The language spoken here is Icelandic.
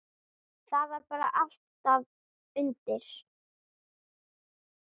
Það var bara allt undir.